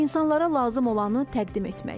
İnsanlara lazım olanı təqdim etmək.